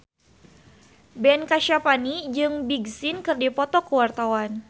Ben Kasyafani jeung Big Sean keur dipoto ku wartawan